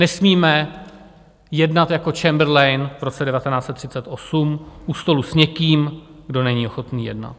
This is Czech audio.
Nesmíme jednat jako Chamberlain v roce 1938 u stolu s někým, kdo není ochotný jednat.